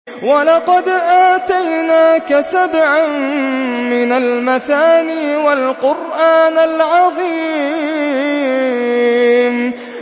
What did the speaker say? وَلَقَدْ آتَيْنَاكَ سَبْعًا مِّنَ الْمَثَانِي وَالْقُرْآنَ الْعَظِيمَ